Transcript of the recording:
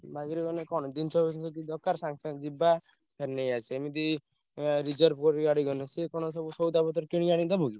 ହଁ। bike ରେ ଗଲେ କଣ ଜିନିଷ ଫିନିଷ କିଛି ଦରକାର କଣ ସାଙ୍ଗେସାଙ୍ଗେ ଯିବା ଯାଇ ନେଇଆସିଆ ଏମିତି ଏଁ reserve କରି ଗାଡି ଗଲେ ସିଏ କଣ ସବୁ ସଉଦା ପତ୍ର କିଣିକି ଆଣି ଦବ କି?